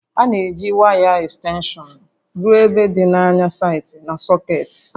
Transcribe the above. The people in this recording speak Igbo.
A na-eji waya ekstenshọn ruo ebe dị anya site na sọkeetị